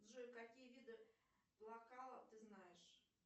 джой каалие виды ты знаешь